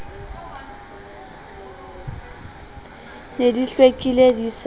ne di hlwekile di sa